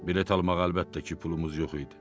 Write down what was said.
Bilet almağa, əlbəttə ki, pulumuz yox idi.